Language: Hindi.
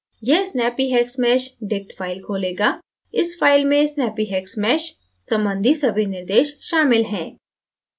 यह snappyhexmeshdict फाइल खोलेगा इस फाइल में snappyhexmesh संबंधी सभी निर्देश शामिल हैं